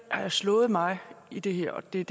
slået mig i det her og det er